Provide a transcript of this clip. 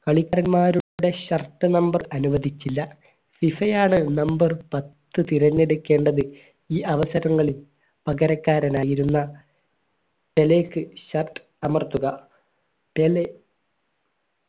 കളിക്കാരൻ മാരുടെ shirt number അനുവദിച്ചില്ല FIFA യാണ് number പത്തു തിരഞ്ഞെടുക്കേണ്ടത് ഈ അവസരങ്ങളിൽ പകരക്കാരൻ ആയിരുന്ന പെലെക്ക് shirt അമർത്തുക പെലെ